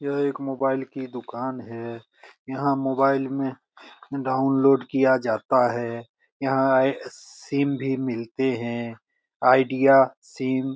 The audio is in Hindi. यह एक मोबाइल की दुकान है। यहाँ मोबाइल में डाउनलोड किया जाता है। यहाँ सिम भी मिलते है। Idea sim --